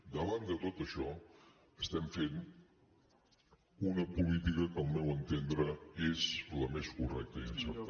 davant de tot això estem fent una política que al meu entendre és la més correcta i encertada